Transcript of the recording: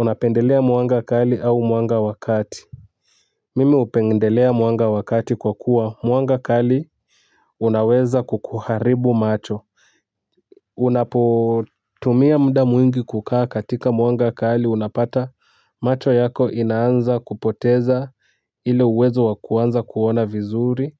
Unapendelea mwanga kali au wa kati? Mimi hupendelea mwanga wa kati kwa kuwa mwanga kali unaweza kukuharibu macho. Unapotumia muda mwingi kukaa katika mwanga kali unapata macho yako inaanza kupoteza ile uwezo wa kuanza kuona vizuri,